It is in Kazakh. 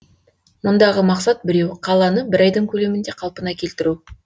мұндағы мақсат біреу қаланы бір айдың көлемінде қалпына келтіру